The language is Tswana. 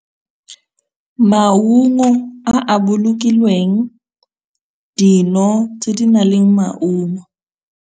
Maungo a a bolokilweng, dino tse di nang le maungo.